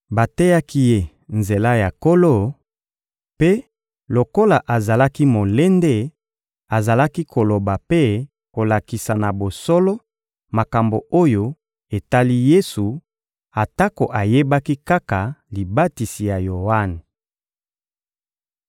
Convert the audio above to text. Bateyaki ye nzela ya Nkolo; mpe, lokola azalaki molende, azalaki koloba mpe kolakisa na bosolo makambo oyo etali Yesu atako ayebaki kaka libatisi ya Yoane.